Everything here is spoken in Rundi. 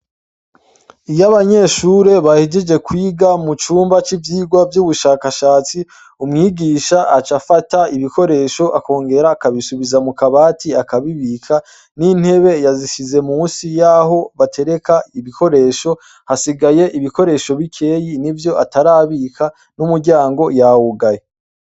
Iyo abanyeshure bahejeje kwiga mucumba c'ivyigwa c'ubushakashatsi, umwigisha aca afata ibikoresho akongera akabisubiza mu kabati akabibika n'intebe yazishize musi yaho batereka ibikoresho, hasigaye ibikoresho bikeyi n'ivyo atarabika n'umuryango yawugaye.